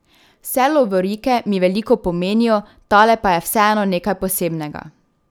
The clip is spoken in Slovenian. Vse lovorike mi veliko pomenijo, tale pa je vseeno nekaj posebnega.